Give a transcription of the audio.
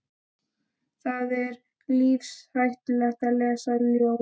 Það er lífshættulegt að lesa ljóð.